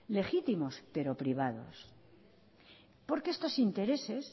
legítimos pero privados porque estos intereses